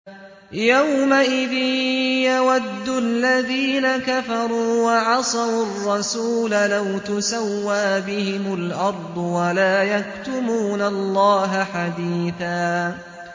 يَوْمَئِذٍ يَوَدُّ الَّذِينَ كَفَرُوا وَعَصَوُا الرَّسُولَ لَوْ تُسَوَّىٰ بِهِمُ الْأَرْضُ وَلَا يَكْتُمُونَ اللَّهَ حَدِيثًا